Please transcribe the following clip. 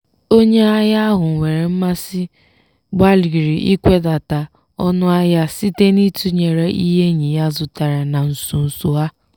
onye ahịa ahụ nwere mmasị gbalịrị ikwedata ọnụ ahịa site n'itunyere ihe enyi ya zụtara na nso nso a.